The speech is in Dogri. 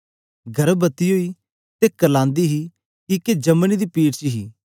गर्भवती ओई ते करलांदी हे किके जमने दी पीड़ च हे